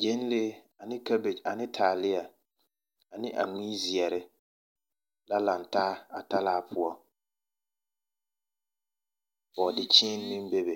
gyenlee ane kabegi ane taalea ane a mui zeɛre la laŋ taa a talaa poɔ. Bɔɔdekyeene meŋbebe.